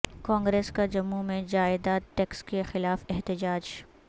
کانگریس کا جموں میں جائیداد ٹیکس کے خلاف احتجاج